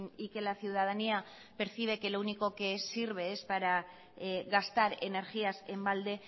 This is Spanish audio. y que la ciudadanía percibe que lo único que sirve es para gastar energías en balde